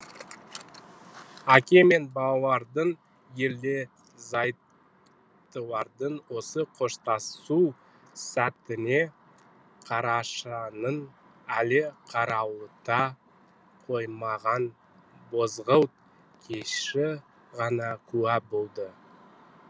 әке мен балалардың ерлі зайыптылардың осы қоштасу сәтіне қарашаның әлі қарауыта қоймаған бозғылт кеші ғана куә болды